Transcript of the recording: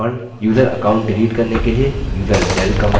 user account delete करने के लिए userdel command